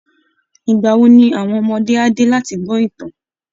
Ìgbà wo ni àwọn ọmọdé á dé láti gbọ́ ìtàn?